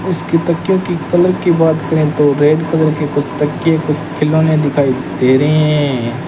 इसकी तकियो की कलर की बात करें तो रेड कलर की कुछ तकियों कुछ खिलौने दिखाई दे रहे हैं।